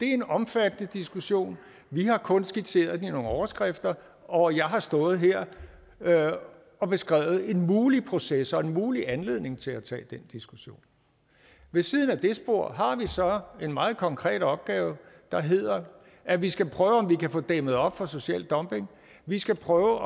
en omfattende diskussion vi har kun skitseret den i nogle overskrifter og jeg har stået her og beskrevet en mulig proces og en mulig anledning til at tage den diskussion ved siden af det spor har vi så en meget konkret opgave der hedder at vi skal prøve om vi kan få dæmmet op for social dumping vi skal prøve